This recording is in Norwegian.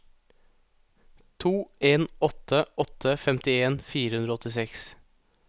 to en åtte åtte femtien fire hundre og åttiseks